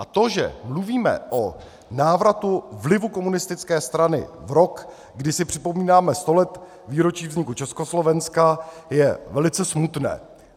A to, že mluvíme o návratu vlivu komunistické strany v roce, kdy si připomínáme sto let výročí vzniku Československa, je velice smutné.